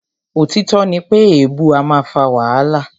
Òtítọ́ ní pé èèbu a máà fà wàhálà.